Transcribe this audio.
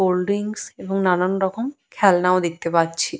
Cold drinks এবং নানান রকম খেলনা ও দেখতে পাচ্ছি।